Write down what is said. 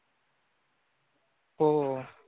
हो.